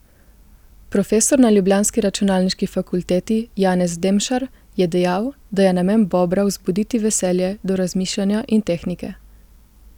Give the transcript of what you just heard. Profesor na ljubljanski računalniški fakulteti Janez Demšar je dejal, da je namen Bobra vzbuditi veselje do razmišljanja in tehnike.